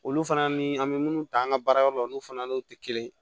Olu fana ni an bɛ munnu ta an ka baarayɔrɔ la olu fana n'o tɛ kelen ye